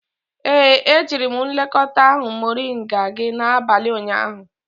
Ee, ejiri m nlekọta ahụ moringa gị n'abalị ụnyaahụ.